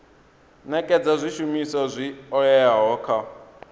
nekedza zwishumiswa zwi oeaho kha